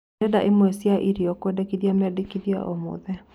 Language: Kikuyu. Ndĩrenda ĩmwe cĩaĩrĩo kũendekĩa medekĩthĩa o mothe